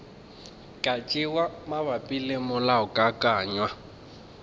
ka tšewa mabapi le molaokakanywa